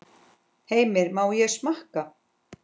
Heimir: Má ég smakka?